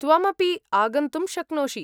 त्वम् अपि आगन्तुं शक्नोषि।